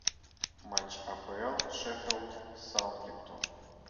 матч апл шеффилд саутгемптон